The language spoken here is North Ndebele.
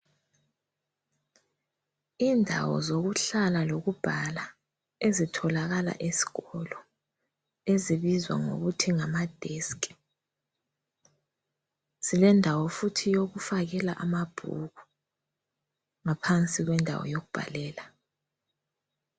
Indawo zokuhlala lokubhala ezitholakala esikolo, ezibizwa ngokuthi ngama desk. Zilendawo futhi yokufakela amabhuku ngaphansi kwendawo yokubhalela.